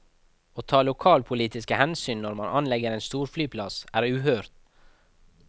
Å ta lokalpolitiske hensyn når man anlegger en storflyplass, er uhørt.